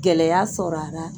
Gɛlɛya sɔrɔ a la